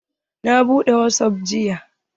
Na buɗe wasap jiya.